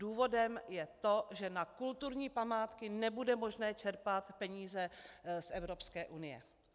Důvodem je to, že na kulturní památky nebude možné čerpat peníze z Evropské unie.